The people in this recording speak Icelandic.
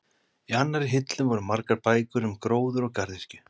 Í annarri hillu voru margar bækur um gróður og garðyrkju.